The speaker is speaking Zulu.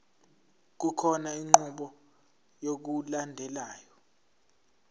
kukhona inqubo yokulandelayo